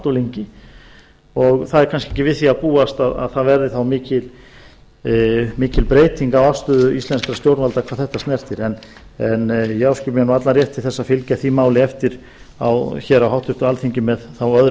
því ef til vill ekki við því að búast að mikil breyting verði á afstöðu íslenskra stjórnvalda hvað þetta snertir ég áskil mér allan rétt til að fylgja málinu eftir á háttvirtu alþingi með öðrum